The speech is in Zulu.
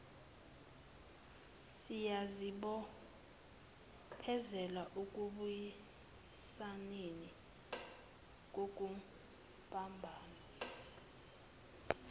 siyazibophezela ekubuyisaneni kubumbano